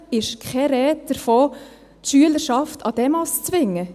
Selbstverständlich ist keine Rede davon, die Schülerschaft an Demos zu zwingen.